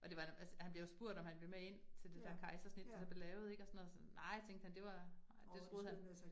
Og det var en altså han bliver jo spurgt, om han ville med ind til det der kejsersnit, der blev lavet ik og sådan noget så, nej tænkte han det var, nej det troede han